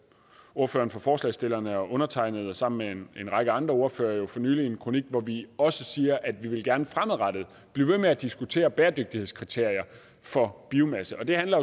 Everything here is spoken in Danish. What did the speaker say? ordføreren for forslagsstillerne og undertegnede sammen med en række andre ordførere jo for nylig en kronik hvor vi også siger at vi gerne fremadrettet blive ved med at diskutere bæredygtighedskriterier for biomasse det handler